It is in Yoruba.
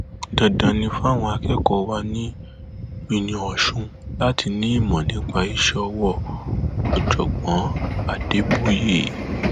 ìjà ọrẹ ẹ tí wọn nà ló fẹẹ lọọ gbé táwọn ọmọlẹyìn eegun fi gun ọlátúnji pa lẹkọọ